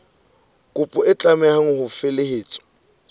kopo e tlameha ho felehetswa